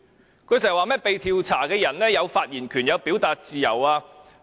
他經常說，被調查的人有發言權和表達自由。